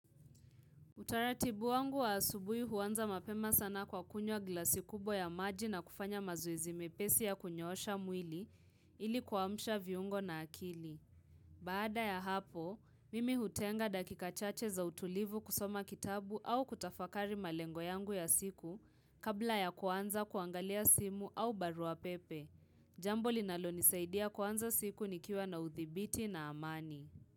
Utaratibu wangu wa asubuhi huanza mapema sana kwa kunywa glasi kubwa ya maji na kufanya mazoezi mepesi ya kunyoosha mwili ili kuamsha viungo na akili Baada ya hapo mimi hutenga dakika chache za utulivu kusoma kitabu au kutafakari malengo yangu ya siku kabla ya kuanza kuangalia simu au barua pepe Jambo linalonisaidia kuanza siku nikiwa na uthibiti na amani.